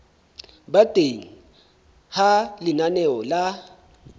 ba teng ha lenaneo la